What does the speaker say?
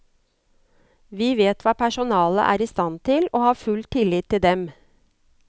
Vi vet hva personalet er i stand til og har full tillit til dem.